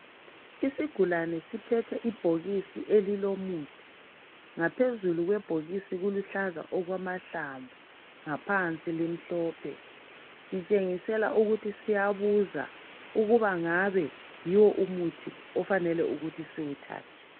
Isigulane siphethe ibhokisi elilomuthi ngaphezulu kwebhokisi kuluhlaza okwamahlamvu ngaphansi limhlophe Sitshengisela ukuthi siyabuza ukuba ngabe yiwo umuthi okufanele ukuthi siwuthathe.